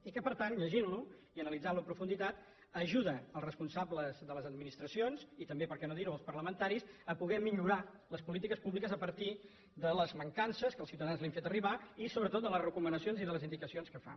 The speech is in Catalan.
i que per tant llegint lo i analitzant lo amb profunditat ajuda els responsables de les administracions i també perquè no dir ho els parlamentaris a poder millorar les polítiques públiques a partir de les mancances que els ciutadans li han fet arribar i sobretot de les recomanacions i de les indicacions que fa